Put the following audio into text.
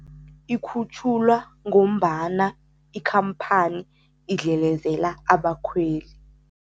Ikhutjhulwa ngombana ikhamphani idlelezela abakhweli.